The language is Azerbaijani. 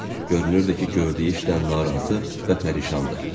Görünürdü ki, gördüyü işdən narazı və pərişandı.